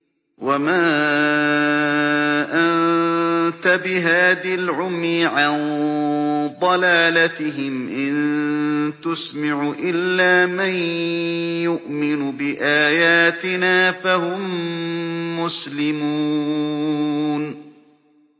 وَمَا أَنتَ بِهَادِ الْعُمْيِ عَن ضَلَالَتِهِمْ ۖ إِن تُسْمِعُ إِلَّا مَن يُؤْمِنُ بِآيَاتِنَا فَهُم مُّسْلِمُونَ